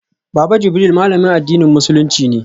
Baba Jibril malamin addinin musulunci ne